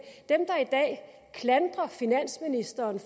klandrer finansministeren